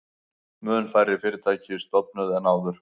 Mun færri fyrirtæki stofnuð en áður